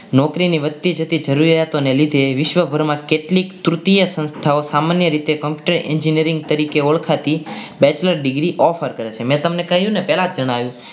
નોકરીની વધતી જતી જરૂરિયાતો ને લીધે વિશ્વભરમાં કેટલીક કૃતિઓ સંસ્થાઓ સામાન્ય રીતે engineering તરીકે ઓળખાતી bachelor degree offer કરે છે મેં કહ્યું કે